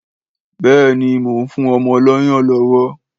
Béèni mon fún ọmọ lọ́yàn lówó